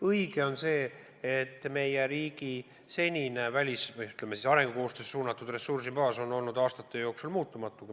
Õige on see, et meie riigi senine arengukoostöösse suunatud ressursibaas on olnud aastate jooksul muutumatu.